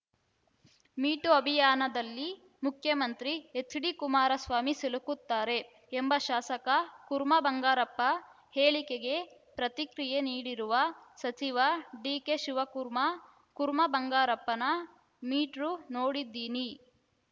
me too ಅಭಿಯಾನದಲ್ಲಿ ಮುಖ್ಯಮಂತ್ರಿ HD Kumaraswamy ಸಿಲುಕುತ್ತಾರೆ ಎಂಬ ಶಾಸಕ ಕುರ್ಮಾ ಬಂಗಾರಪ್ಪ ಹೇಳಿಕೆಗೆ ಪ್ರತಿಕ್ರಿಯೆ ನೀಡಿರುವ ಸಚಿವ ಡಿಕೆಶಿವಕುರ್ಮಾ ಕುರ್ಮಾ ಬಂಗಾರಪ್ಪನ ಮೀಟ್ರೂ ನೋಡಿದ್ದೀನಿ